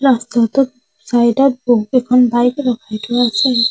ৰাস্তাটোত চাইড ত বহুকেইখন বাইক ৰখাই থোৱা আছে।